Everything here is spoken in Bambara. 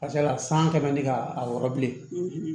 Ka ca ala san kɛmɛ di ka a wɔrɔ bilen